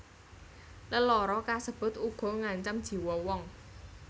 Lelara kasebut uga ngancam jiwo wong